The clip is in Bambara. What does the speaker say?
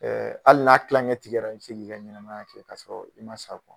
Ɛɛ hali n'a tilancɛ tigɛra i bɛ se k'i ka ɲɛnamaya kɛ k'a sɔrɔ i ma sa